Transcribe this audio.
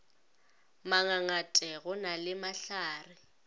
mangangate go na le mahlare